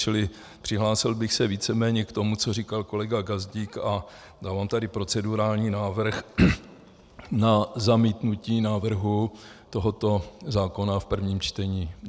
Čili přihlásil bych se víceméně k tomu, co říkal kolega Gazdík, a dávám tady procedurální návrh na zamítnutí návrhu tohoto zákona v prvním čtení.